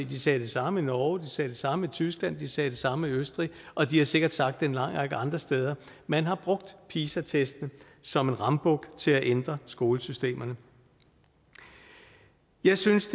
de sagde det samme i norge de sagde det samme i tyskland de sagde det samme i østrig og de har sikkert sagt en lang række andre steder man har brugt pisa testene som en rambuk til at ændre skolesystemerne jeg synes